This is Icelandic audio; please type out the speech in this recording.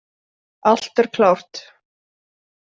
Allt er klárt.